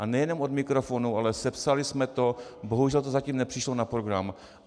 A nejenom od mikrofonu, ale sepsali jsme to, bohužel to zatím nepřišlo na program.